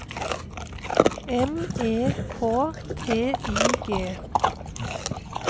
M E K T I G